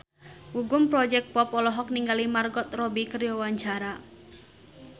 Gugum Project Pop olohok ningali Margot Robbie keur diwawancara